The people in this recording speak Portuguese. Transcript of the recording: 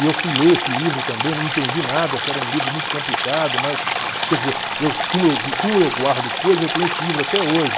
E eu fui ler esse livro também, não entendi nada, que era um livro muito complicado, mas, quer dizer, eu como eu como eu guardo coisas, eu tenho esse livro até hoje.